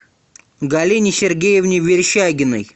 галине сергеевне верещагиной